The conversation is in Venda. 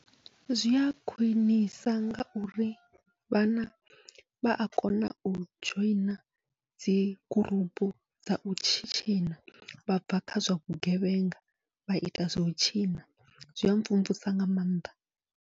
Zwia khwiṋisa ngauri vhana vha a kona u dzhoina dzi gurupu dzau tshitshina vha bva kha zwa vhugevhenga, vha ita zwau tshina zwia mvumvusa nga maanḓa.